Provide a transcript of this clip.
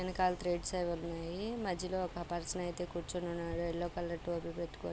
ఎనకాల త్రెడ్స్ అవి ఉన్నాయి. మధ్యలో ఒక పర్సన్ అయితే కూర్చుని ఉన్నాడు. ఎల్లో కలర్ టోపీ పెట్టుకొని.